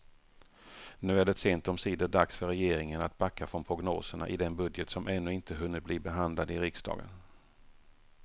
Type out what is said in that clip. Nu är det sent omsider dags för regeringen att backa från prognoserna i den budget som ännu inte hunnit bli behandlad i riksdagen.